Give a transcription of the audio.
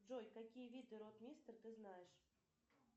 джой какие виды ротмистр ты знаешь